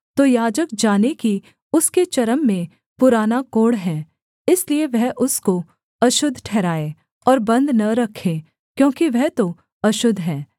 तो याजक जाने कि उसके चर्म में पुराना कोढ़ है इसलिए वह उसको अशुद्ध ठहराए और बन्द न रखे क्योंकि वह तो अशुद्ध है